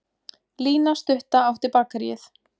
Lína stutta átti Bakaríið.